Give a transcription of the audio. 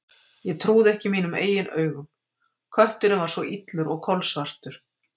Ég trúði ekki mínum eigin augum: kötturinn var svo illur og kolsvartur.